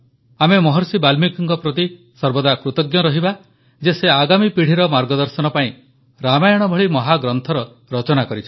ଆମେ ମହର୍ଷି ବାଲ୍ମୀକିଙ୍କ ପ୍ରତି ସର୍ବଦା କୃତଜ୍ଞ ରହିବା ଯେ ସେ ଆଗାମୀ ପିଢ଼ିର ମାର୍ଗଦର୍ଶନ ପାଇଁ ରାମାୟଣ ଭଳି ମହାଗ୍ରନ୍ଥର ରଚନା କରିଛନ୍ତି